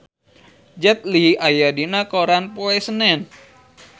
Jet Li aya dina koran poe Senen